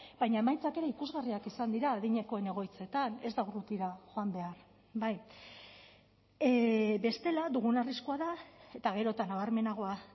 baina emaitzak ere ikusgarriak izan dira adinekoen egoitzetan ez da urrutira joan behar bai bestela dugun arriskua da eta gero eta nabarmenagoa